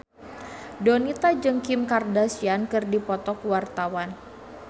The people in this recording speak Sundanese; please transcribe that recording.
Donita jeung Kim Kardashian keur dipoto ku wartawan